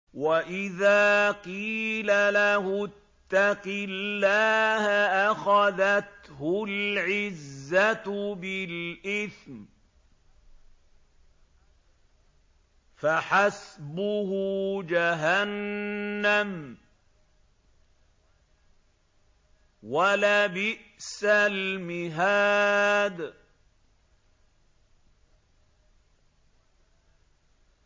وَإِذَا قِيلَ لَهُ اتَّقِ اللَّهَ أَخَذَتْهُ الْعِزَّةُ بِالْإِثْمِ ۚ فَحَسْبُهُ جَهَنَّمُ ۚ وَلَبِئْسَ الْمِهَادُ